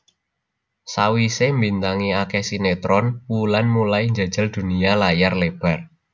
Sawisé mbintangi akeh sinetron Wulan mulai njajal dunya layar lebar